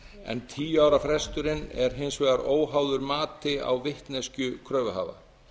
en tíu ára fresturinn er hins vegar óháður mati á vitneskju kröfuhafa